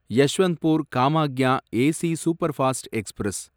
Yesvantpur Kamakhya AC superfast express